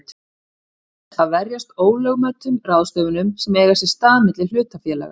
til þess að verjast ólögmætum ráðstöfunum sem eiga sér stað milli hlutafélaga.